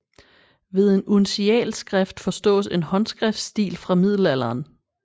Ved en uncialskrift forstås en håndskriftstil fra middelalderen